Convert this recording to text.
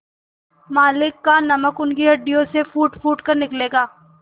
मालिक का नमक उनकी हड्डियों से फूटफूट कर निकलेगा